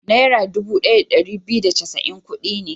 Naira dubu ɗaya da ɗari biyu da casa'in kuɗi ne.